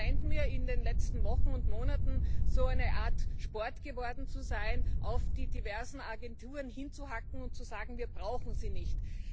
Es scheint mir in den letzten Wochen und Monaten so eine Art Sport geworden zu sein, auf die diversen Agenturen einzuhacken und zu sagen Wir brauchen sie nicht.